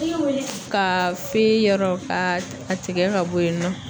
Ka fe yɔrɔ ka tigɛ ka bɔ yen nɔ.